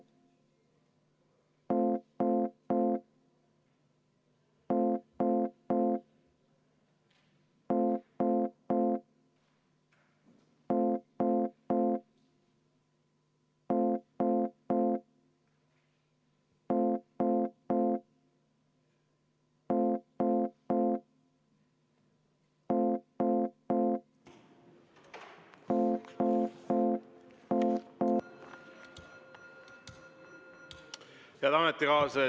Head ametikaaslased!